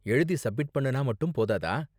எழுதி சப்மிட் பண்ணுனா மட்டும் போதாதா?